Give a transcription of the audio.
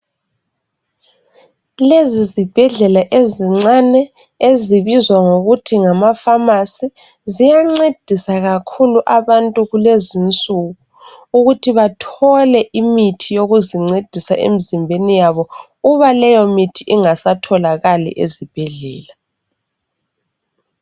Lezi zibhedlela ezincane ezibizwa ngokuthi ngamafamasi ziyancedisa kakhulu abantu kulezinsuku ukuthi bathole imithi yokuzincedisa emizimbeni yabo uba leyomithi ingasatholakali ezibhedlela